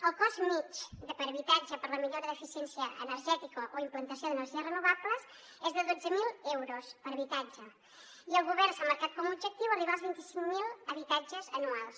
el cost mitjà per habitatge per a la millora d’eficiència energètica o implantació d’energies renovables és de dotze mil euros per habitatge i el govern s’ha marcat com a objectiu arribar als vint cinc mil habitatges anuals